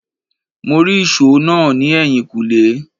Mó rí ìsò náà ni ẹyin kule